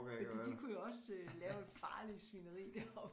Fordi de kunne jo også lave et farligt svineri deroppe